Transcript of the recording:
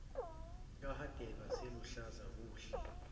kahadebe aseluhlaza kuhle